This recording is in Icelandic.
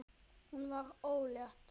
Hún varð ólétt.